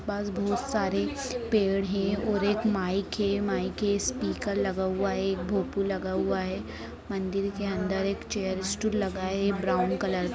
पास बहुत सारे पेड़ हैं और एक माइक है माइक है स्पीकर लगा हुआ है भोंपू लगा हुआ है। मंदिर के अंदर एक चेयर स्टूल लगा है ब्राउन कलर --